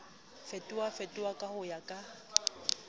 fetofetoha ka ho ya ka